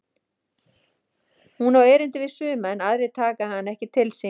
Hún á erindi við suma en aðrir taka hana ekki til sín.